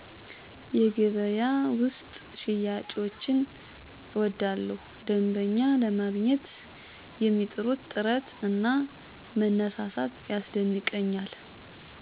የገበያ ውስጥ ሽያጮችን እወዳቸዋለሁ ደንበኛ ለማግኝት የሚጥሩት ጥረት እና መነሳሳት ያስደንቀኛል።